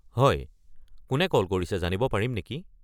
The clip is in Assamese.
হয়, কোনে কল কৰিছে জানিব পাৰিম নেকি?